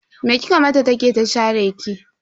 Me kika mata ta ke ta share ki?